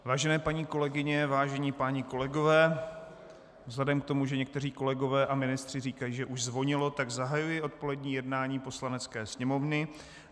Vážené paní kolegyně, vážení páni kolegové, vzhledem k tomu, že někteří kolegové a ministři říkají, že už zvonilo, tak zahajuji odpolední jednání Poslanecké sněmovny.